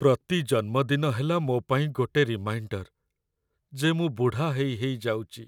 ପ୍ରତି ଜନ୍ମଦିନ ହେଲା ମୋ' ପାଇଁ ଗୋଟେ ରିମାଇଣ୍ଡର ଯେ ମୁଁ ବୁଢ଼ା ହେଇ ହେଇ ଯାଉଚି ।